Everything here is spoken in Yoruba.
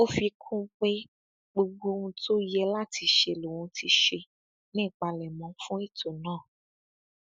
ó fi kún un pé gbogbo ohun tó yẹ láti ṣe lòun ti ṣe ní ìpalẹmọ fún ètò náà